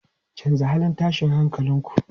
Canza halin tashin hankalin ku!